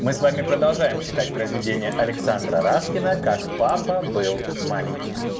мы с вами продолжаем читать произведение александра раскина как папа был маленьким